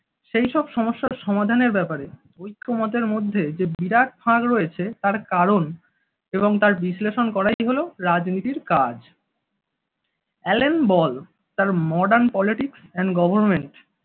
সেই সব সমস্যার সমাধানের ব্যাপারে ঐক্যমতের মধ্যে যে বিরাট ফাঁক রয়েছে তার কারণ এবং তার বিশ্লেষণ করাই হলো রাজনীতির কাজ। এলেন বল তার modern politics and government